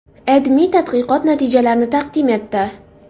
AdMe tadqiqot natijalarini taqdim etdi .